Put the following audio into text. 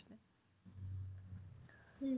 হুম